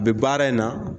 Bi baara in na